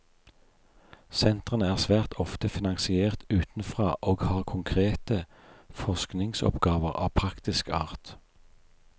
Sentrene er svært ofte finansiert utenfra og har konkrete forskningsoppgaver av praktisk art.